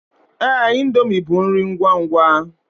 Ee, indomie bụ nri ngwangwa.